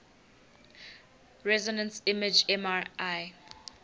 resonance imaging mri